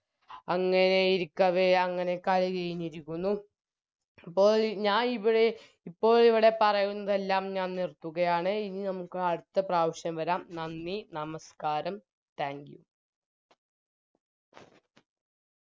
അങ്ങനെയിരിക്കവേ അങ്ങനെ കളി കെഴിഞ്ഞിരിക്കുന്നു പ്പോയി ഞാനിവിടെ ഇപ്പോഴിവിടെ പറയുന്നതെല്ലാം ഞാൻ നിർത്തുകയാണ് ഇനി നമുക്ക് അടുത്ത പ്രാവശ്യം വരാം നന്ദി നമസ്ക്കാരം Thankyou